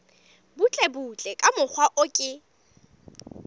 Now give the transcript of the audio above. butlebutle ka mokgwa o ke